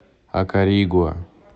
акаригуа